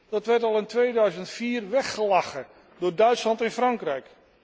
Dat werd al in 2004 weggelachen door Duitsland en Frankrijk.